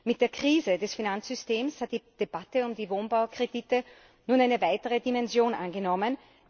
Mit der Krise des Finanzsystems hat die Debatte um die Wohnbaukredite nun eine weitere Dimension angenommen.